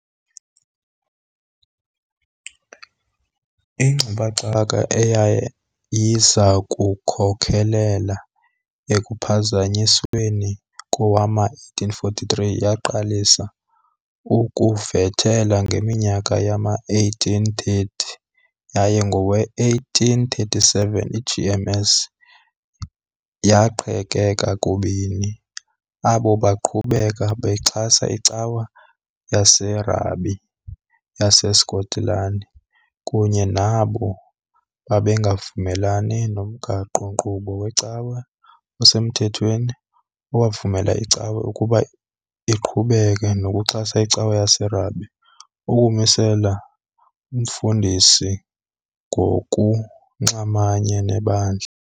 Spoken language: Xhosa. Ingxubakaxaka eyayiza kukhokelela ekuPhazanyisweni kowama1843 yaqalisa ukuvuthela ngeminyaka yama1830, yaye ngowe-1837 iGMS yaqhekeka kubini, abo baqhubeka bexhasa iCawa yaseRhabe yaseSkotlani kunye nabo babengavumelani nomgaqo-nkqubo weCawa osemthethweni, owavumela icawa ukuba iqhubeke nokuxhasa iCawa yaseRhabe, ukumisela umfundisi ngokunxamanye nebandla.